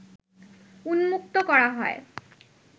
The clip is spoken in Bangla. উন্মুক্ত করা হয়